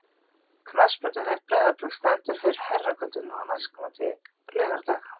Knattspyrnudeild Breiðabliks stendur fyrir herrakvöldi nú næstkomandi laugardag.